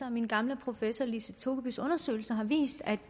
at min gamle professor lise togebys undersøgelser har vist at